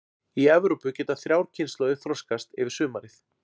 Í Evrópu geta þrjár kynslóðir þroskast yfir sumarið.